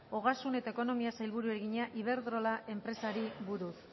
ogasun eta ekonomiako sailburuari egina iberdrola enpresari buruz